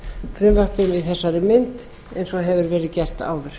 frumvarpið í þessari mynd eins og hefur verið gert áður